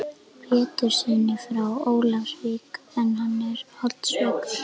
Péturssyni frá Ólafsvík en hann var holdsveikur.